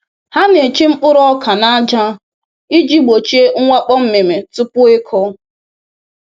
“Ha na-eche mkpụrụ ọka na aja iji gbochie mwakpo mmịmị tupu ịkụ